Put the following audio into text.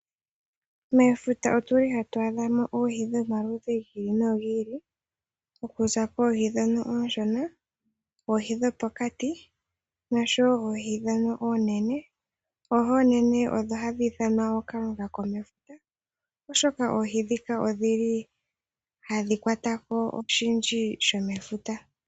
Mefuta otuli hatu adha mo oohi dhomaludhi gi ili nogi ili, oku za koohi ndhono oonshona, oohi dhopokati noshowo oohi ndhono oonene. Oohi oonene odho hadhi ithanwa ookalunga komefuta, oshoka oohi ndhika odhili hadhi kwata ko oshindji shomefuta.